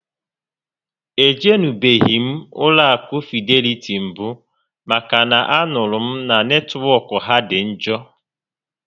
E jenubeghị m ụlọ akụ Fideliti mbụ maka na a nụrụ m na netwọk ha dị njọ